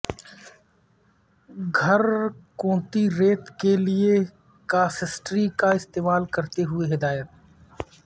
گھر کنوتی ریت کے لئے کاسٹسٹری کا استعمال کرتے ہوئے ہدایت